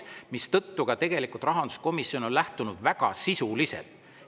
Ka rahanduskomisjon on tegelikult väga sisuliselt.